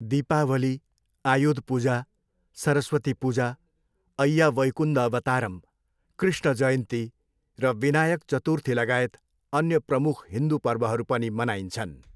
दीपावली, आयुध पूजा, सरस्वती पूजा, अय्या वैकुन्द अवतारम्, कृष्ण जयन्ती र विनायक चतुर्थीलगायत अन्य प्रमुख हिन्दू पर्वहरू पनि मनाइन्छन्।